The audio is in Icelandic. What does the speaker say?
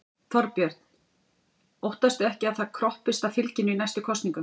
Þorbjörn: Óttastu ekki að það kroppist af fylginu í næstu kosningum?